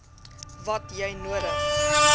wat jy nodig